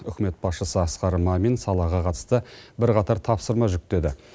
үкімет басшысы асқар мамин салаға қатысты бірқатар тапсырма жүктеді